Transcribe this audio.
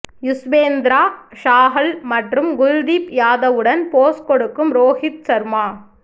யுஸ்வேந்த்ரா சாஹல் மற்றும் குல்தீப் யாதவுடன் போஸ் கொடுக்கும் ரோஹித் ஷர்மா